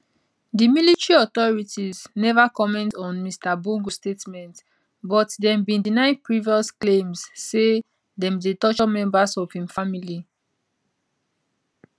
di military authorities neva comment on mr bongo statement but dem bin deny previous claims say dem dey torture members of im family